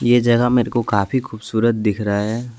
ये जगह मेरे को काफी खूबसूरत दिख रहा है।